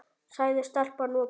sagði stelpan og benti.